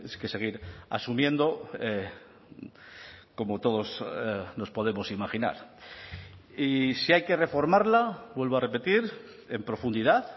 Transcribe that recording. que seguir asumiendo como todos nos podemos imaginar y si hay que reformarla vuelvo a repetir en profundidad